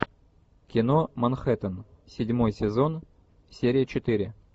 кино манхэттен седьмой сезон серия четыре